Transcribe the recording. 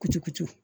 Kucukutu